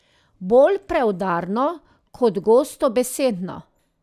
Bolj preudarno kot gostobesedno.